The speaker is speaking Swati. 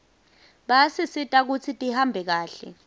bayasisita kutsi tihambe kahle